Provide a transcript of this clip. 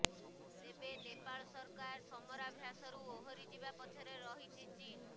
ତେବେ ନେପାଳ ସରକାର ସମରାଭ୍ୟାସରୁ ଓହରିଯିବା ପଛରେ ରହିଛି ଚୀନ୍